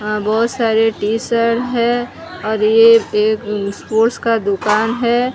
आ बहोत सारे T shirt है और ये एक अम स्पोर्ट्स का दुकान है।